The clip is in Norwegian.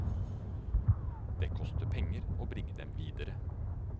Det koster penger å bringe dem videre.